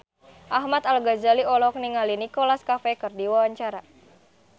Ahmad Al-Ghazali olohok ningali Nicholas Cafe keur diwawancara